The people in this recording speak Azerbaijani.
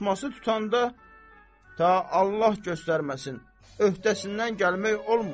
Tutması tutanda ta Allah göstərməsin, öhdəsindən gəlmək olmur.